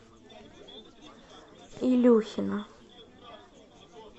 илюхина